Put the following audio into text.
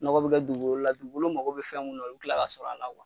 Nɔgɔ be kɛ dugukolo la, dugukolo mago be fɛn mun na olu be tila ka sɔr'a la